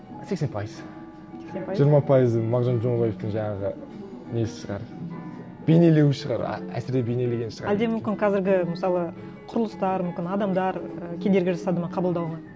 сексен пайыз сексен пайыз жиырма пайызы мағжан жұмабаевтың жаңағы несі шығар бейнелеуі шығар әсіре бейнелеген шығар әлде мүмкін қазіргі мысалы құрылыстар мүмкін адамдар і кедергі жасады ма қабылдауға